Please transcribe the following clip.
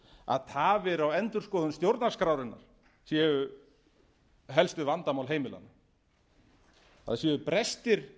að tafir á endurskoðun stjórnarskrárinnar séu helstu vandamál heimilanna að séu brestir